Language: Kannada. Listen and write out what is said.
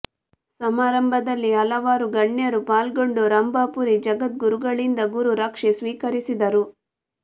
ಸಮಾರಂಭದಲ್ಲಿ ಹಲವಾರು ಗಣ್ಯರು ಪಾಲ್ಗೊಂಡು ರಂಭಾಪುರಿ ಜಗದ್ಗುರುಗಳಿಂದ ಗುರು ರಕ್ಷೆ ಸ್ವೀಕರಿಸಿದರು